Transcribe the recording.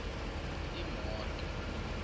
imoto